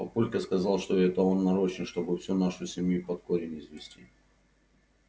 папулька сказал что это он нарочно чтобы всю нашу семью под корень извести